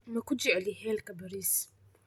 maku jecli helka Bariis